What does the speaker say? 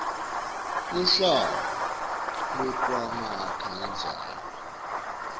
luhlaka lwekumakha indzaba